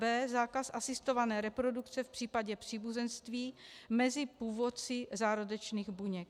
b) zákaz asistované reprodukce v případě příbuzenství mezi původci zárodečných buněk;